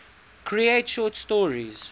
create short stories